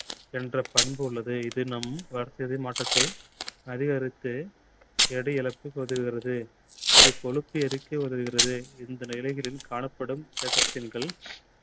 என்ற பண்பு உள்ளது. இது நம் வளர்சிதை மாற்றத்தை அதிகரித்து எடை இழப்புக்கு உதவுகிறது. இ கொழுப்பை எரிக்க உதவுகிறது. இந்த காணப்படும்